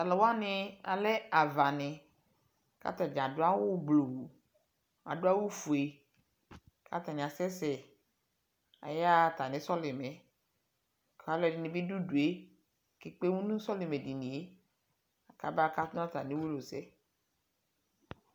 Talu wane alɛ ava neAta dA ado awu bluu, ado awufue ka atane asɛsɛ ,aya atame sɔlemɛ ka aluɛde ne be do udue ke kpemu no sɔlemɛ dinie kaba kato no atame uwoliwusɛ